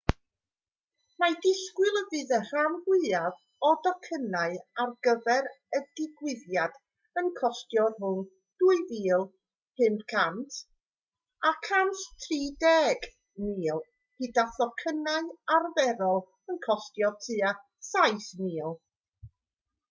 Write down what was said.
mae disgwyl y bydd y rhan fwyaf o docynnau ar gyfer y digwyddiad yn costio rhwng ¥ 2,500 a ¥ 130,000 gyda thocynnau arferol yn costio tua ¥7,000